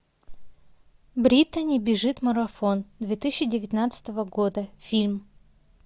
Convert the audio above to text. британи бежит марафон две тысячи девятнадцатого года фильм